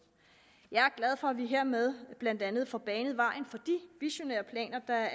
jeg er glad for at vi hermed blandt andet får banet vejen for de visionære planer